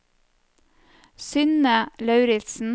Synne Lauritzen